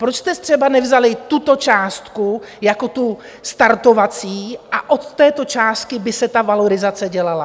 Proč jste třeba nevzali tuto částku jako tu startovací a od této částky by se ta valorizace dělala?